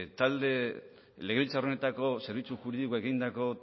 legebiltzar honetako zerbitzu juridikoek egindako